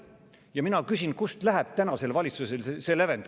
Ja mina küsin, kust läheb tänasel valitsusel see lävend.